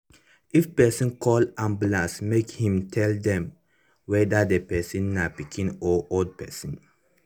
if person call ambulance make him tell dem whether the person na pikin or old person